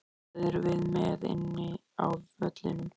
Hvað erum við með inni á vellinum?